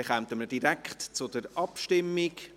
Wir kommen daher direkt zur Abstimmung.